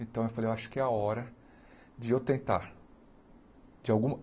Então, eu falei, eu acho que é a hora de eu tentar. De alguma